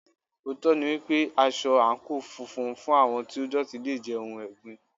Òótọ́ ni wípé, aṣọ àǹkóò funfun fún àwọn tí ó dọ̀tí le jẹ́ ohun ẹ̀gbin.